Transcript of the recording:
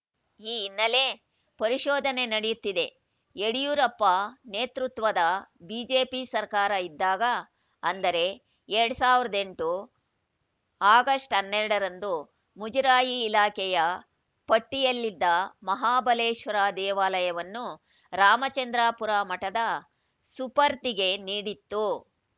ಈ ಹಿನ್ನೆಲೆ ಪರಿಶೋಧನೆ ನಡೆಯುತ್ತಿದೆ ಯಡಿಯೂರಪ್ಪ ನೇತೃತ್ವದ ಬಿಜೆಪಿ ಸರ್ಕಾರ ಇದ್ದಾಗ ಅಂದರೆ ಎರಡ್ ಸಾವಿರದ ಎಂಟು ಆಗಸ್ಟ್ ಹನ್ನೆರಡರಂದು ಮುಜರಾಯಿ ಇಲಾಖೆಯ ಪಟ್ಟಿಯಲ್ಲಿದ್ದ ಮಹಾಬಲೇಶ್ವರ ದೇವಾಲಯವನ್ನು ರಾಮಚಂದ್ರಾಪುರ ಮಠದ ಸುಪರ್ದಿಗೆ ನೀಡಿತ್ತು